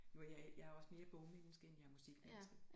Nu jeg jeg er også mere bogmenneske end jeg er musikmenneske